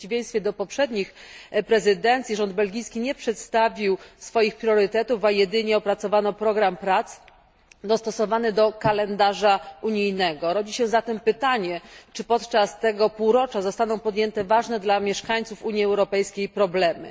W przeciwieństwie do poprzednich prezydencji rząd belgijski nie przedstawił swoich priorytetów, a jedynie opracowano program prac dostosowany do kalendarza unijnego. Rodzi się zatem pytanie, czy podczas tego półrocza zostaną poruszone ważne dla mieszkańców Unii Europejskiej problemy.